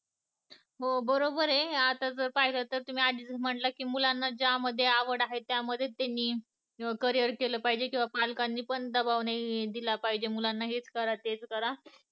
हो बरोबर आहे आता तर तुम्ही आधीच म्हंटलं मुलांना ज्या मध्ये आवड आहे त्या मध्ये त्यांनी ccareer केलं पाहिजे किंवा पालकांनी पण दबाव नाही दिला पाहिजे मुलांना हेच करा, तेच करा